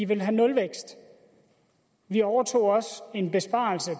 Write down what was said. vil have nulvækst vi overtog også en besparelse